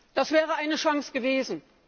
Das wäre eine Chance gewesen!